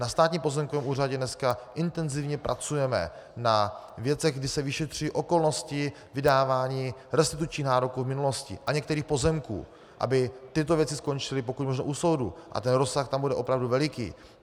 Na Státním pozemkovém úřadě dneska intenzivně pracujeme na věcech, kdy se vyšetřují okolnosti vydávání restitučních nároků v minulosti a některých pozemků, aby tyto věci skončily, pokud možno, u soudu, a ten rozsah tam bude opravdu veliký.